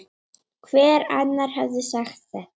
Hver annar hefði sagt þetta?